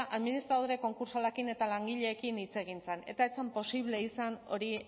administradore konkurtsalekin eta langileekin hitz egin zen eta ez zen posible izan hori